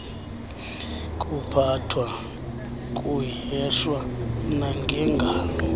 kuphathwa kuheshwa nangengalo